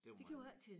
Det var meget